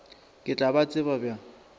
ke tla ba tseba bjang